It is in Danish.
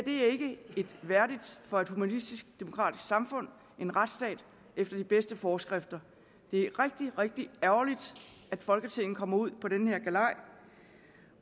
er ikke værdigt for et humanistisk demokratisk samfund en retsstat efter de bedste forskrifter det er rigtig rigtig ærgerligt at folketinget kommer ud på den her galej